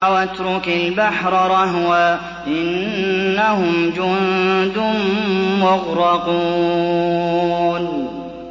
وَاتْرُكِ الْبَحْرَ رَهْوًا ۖ إِنَّهُمْ جُندٌ مُّغْرَقُونَ